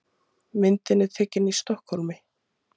Myndin er tekin í Stokkhólmi.